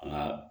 Nka